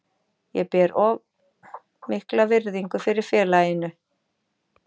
Ég ber of mikla virðingu fyrir félaginu.